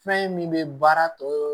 Fɛn min bɛ baara tɔ